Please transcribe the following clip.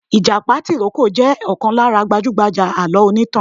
ìjàpá tìrókò jẹ̀ ọ̀kan lára gbajúgbajà alọ onítàn.